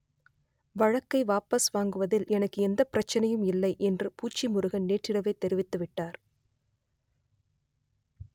வழக்கை வாபஸ் வாங்குவதில் எனக்கு எந்தப் பிரச்சனையும் இல்லை என்று பூச்சி முருகன் நேற்றிரவே தெரிவித்துவிட்டார்